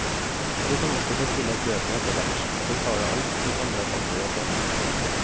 Du kan også bestille bøkene etterhvert og betale alt på samlefaktura senere.